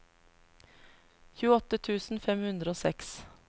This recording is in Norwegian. tjueåtte tusen fem hundre og seks